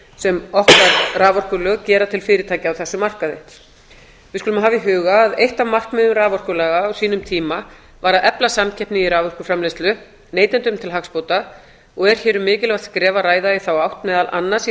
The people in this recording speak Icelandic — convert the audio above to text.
sem okkar raforkulög gera til fyrirtækja á þessum markaði við skulum hafa í huga að eitt af markmiðum raforkulaga á sínum tíma var að efla samkeppni í raforkuframleiðslu neytendum til hagsbóta og er hér um mikilvægt skref að ræða í þá átt meðal annars í